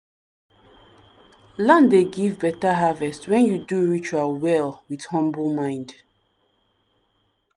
land dey give better harvest when you do ritual well with humble mind